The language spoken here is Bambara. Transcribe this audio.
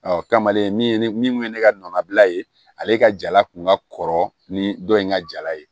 Ɔ kamalen min ye ne min kun ye ne ka nɔbila ye ale ka jala kun ka kɔrɔ ni dɔ in ka jala ye